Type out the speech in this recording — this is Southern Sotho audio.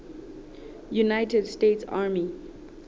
united states army